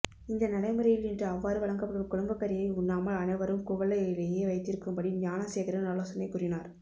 இந்தநடைமுறையில் இன்று அவ்வாறு வழங்கப்படும் குழம்புகறியை உண்ணாமல் அனைவரும் குவழையிலேயே வைத்திருக்கும்படி ஞானசேகரன் ஆலோசனை கூறினார்